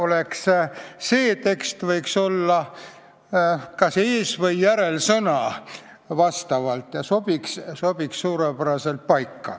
Praegune tekst võiks olla raporti kas ees- või järelsõna, ta sobiks selleks suurepäraselt.